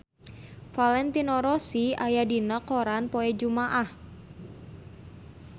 Valentino Rossi aya dina koran poe Jumaah